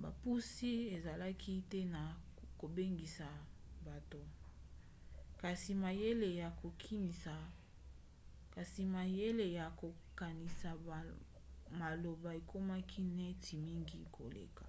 bopusi ezalaki te na kobengisa bato kasi mayele ya kokanisa maloba ekomaki ntina mingi koleka